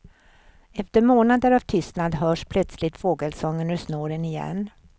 Efter månader av tystnad hörs plötsligt fågelsång ur snåren igen.